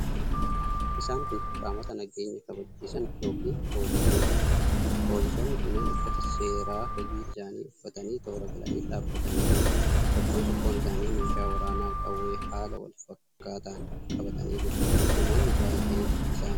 Isaan kun qaamota nageenya kabachiisan yookiin poolisootadha. Poolisoonni kunneen uffata seeraa hojii isaanii uffatanii toora galanii dhaabbatanii jiru. Tokkoon tokkoon isaanii meeshaa waraanaa qawwee haala wal fakkaataan qabatanii jiru. Namoonni baay'een isaanitti naanna'anii jiru.